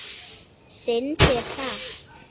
Syndir hratt.